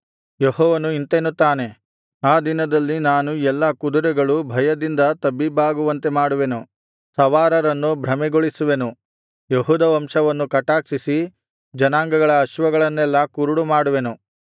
ಯೆಹೋವನು ಇಂತೆನ್ನುತ್ತಾನೆ ಆ ದಿನದಲ್ಲಿ ನಾನು ಎಲ್ಲಾ ಕುದುರೆಗಳು ಭಯದಿಂದ ತಬ್ಬಿಬ್ಬಾಗುವಂತೆ ಮಾಡುವೆನು ಸವಾರರನ್ನು ಭ್ರಮೆಗೊಳಿಸುವೆನು ಯೆಹೂದ ವಂಶವನ್ನು ಕಟಾಕ್ಷಿಸಿ ಜನಾಂಗಗಳ ಅಶ್ವಗಳನ್ನೆಲ್ಲಾ ಕುರುಡು ಮಾಡುವೆನು